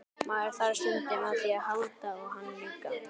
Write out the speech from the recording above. Maður þarf stundum á því að halda og hann líka.